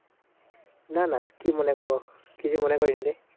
না না কি মনে করবো, কিছু মনে করিনি রে।